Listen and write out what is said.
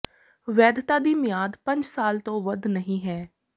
ਵੈਧਤਾ ਦੀ ਮਿਆਦ ਪੰਜ ਸਾਲ ਤੋਂ ਵੱਧ ਨਹੀਂ ਹੈ